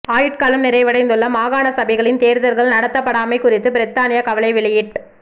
ஆயுட்காலம் நிறைவடைந்துள்ள மாகாண சபைகளின் தேர்தல்கள் நடத்தப்படாமை குறித்து பிரித்தானியா கவலை வெளியிட்